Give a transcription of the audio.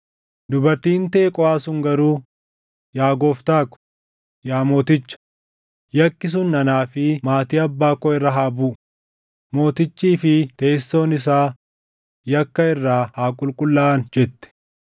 Dubartiin Teqooʼaa sun garuu, “Yaa gooftaa ko, yaa mooticha, yakki sun anaa fi maatii abbaa koo irra haa buʼu; mootichii fi teessoon isaa yakka irraa haa qulqullaaʼan” jette.